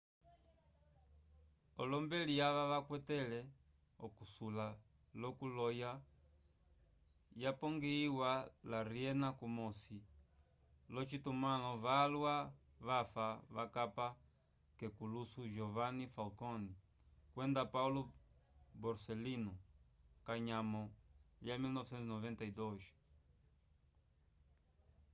olombeli ava vakwatele okusula lo ku loya yapongihiwa la riena kumosi lo citumalo valwa vafa vakapa kekuluso giovanni falcone kwenda paolo borsellino kanyamo lya 1992